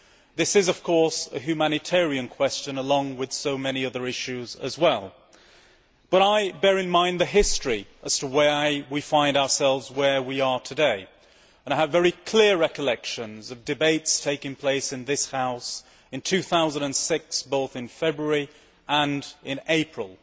This is, of course, a humanitarian question along with so many other issues as well, but I bear in mind the history as to why we find ourselves where we are today and I have very clear recollections of debates taking place in this House in 2006, both in February and in April,